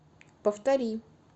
повтори